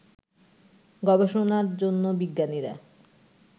গবেষণায় জন্য বিজ্ঞানীরা